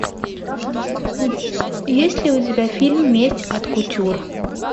есть ли у тебя фильм месть от кутюр